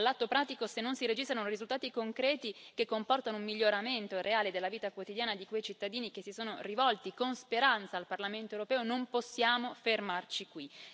All'atto pratico, se non si registrano risultati concreti che comportano un miglioramento reale della vita quotidiana di quei cittadini che si sono rivolti con speranza al Parlamento europeo, non possiamo fermarci qui.